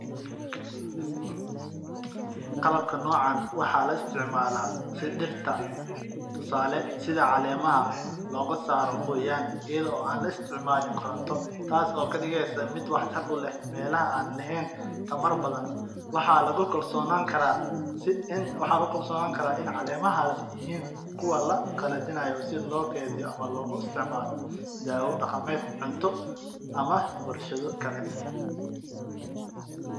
Qalabkan noocan waxaa laga isticmaalo dirta ayado caleemaha laga saaro si loo qalajiyo ama loo kediyo ama warshado kale waxaa lagu daraa wax yaaba badan sida tamarta.